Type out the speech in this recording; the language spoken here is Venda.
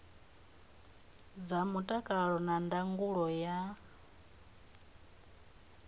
dza mutakalo na ndangulo ya